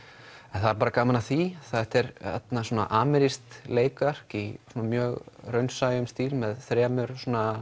en það er bara gaman að því þetta er amerískt leikverk í mjög raunsæum stíl með þremur